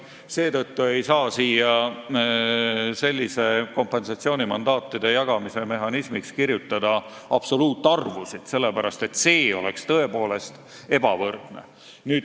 Seetõttu ei saa määrata kompensatsioonimandaatide jagamise mehhanismiks absoluutarvusid, sest see oleks ebavõrdne.